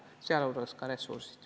Pean sealhulgas silmas ka ressursse.